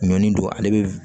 Ɲɔni don ale bɛ